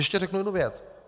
Ještě řeknu jednu věc.